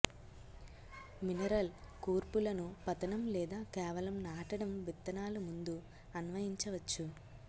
mineral కూర్పులను పతనం లేదా కేవలం నాటడం విత్తనాలు ముందు అన్వయించవచ్చు